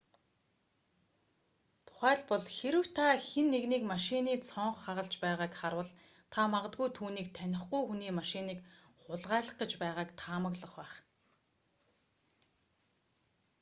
тухайлбал хэрэв та хэн нэгнийг машины цонх хагалж байгааг харвал та магадгүй түүнийг танихгүй хүний машиныг хулгайлах гэж байгааг таамаглах байх